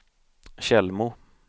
Tjällmo